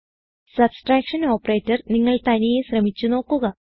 subtraction operator നിങ്ങൾ തനിയെ ശ്രമിച്ചു നോക്കുക